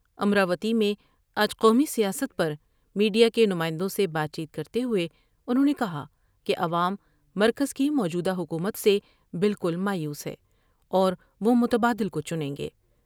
امراوتی میں آج قومی سیاست پر میڈیا کے نمائندوں سے بات چیت کرتے ہوۓ انہوں نے کہا کہ عوام مرکز کی موجودہ حکومت سے بالکل مایوس ہیں اور وہ متبادل کو چنیں گے ۔